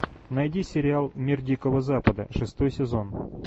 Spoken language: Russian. найди сериал мир дикого запада шестой сезон